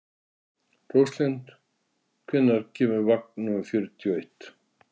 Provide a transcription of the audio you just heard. Róslind, hvenær kemur vagn númer fjörutíu og eitt?